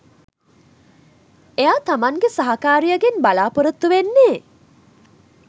එයා තමන්ගේ සහකාරියගෙන් බලාපොරොත්තු වෙන්නේ